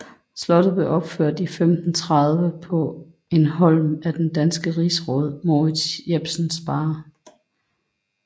Slottet er opført i 1530 på en holm af den danske rigsråd Mourids Jepsen Sparre